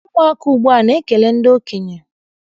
Ụmụaka ugbua ana ekele ndị okenye?